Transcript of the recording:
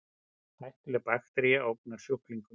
Hættuleg baktería ógnar sjúklingum